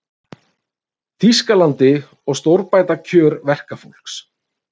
Þýskalandi og stórbæta kjör verkafólks.